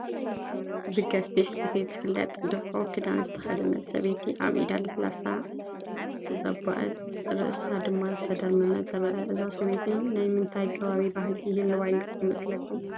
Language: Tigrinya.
ብገፊሕ ስፌት ዝፍለጥ ድፍኦ ክዳን ዝተኸደነት ሰበይቲ፣ ኣብ ኢዳ ሳስላ ዘቦአት፣ ርእሳ ድማ ዝተደርመመ ትረአ፡፡ እዛ ሰበይቲ ናይ ምንታይ ከባቢ ባህሊ ይህልዋ ይመስለኩም?